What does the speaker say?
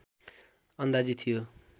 अन्दाजी थियो